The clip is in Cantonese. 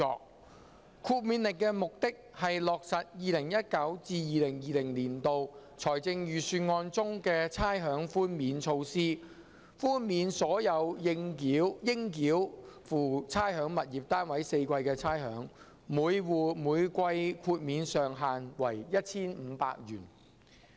《2019年差餉令》的目的，是落實 2019-2020 年度財政預算案中的差餉寛免措施，豁免所有應繳付差餉物業單位4季的差餉，每戶每季豁免上限為 1,500 元。